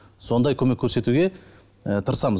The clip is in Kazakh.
сондай көмек көрсетуге ы тырысамыз